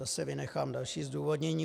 Zase vynechám další zdůvodnění.